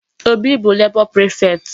Obi bụ labor prefect.